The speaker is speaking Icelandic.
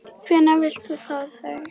Hvenær viltu fá þau?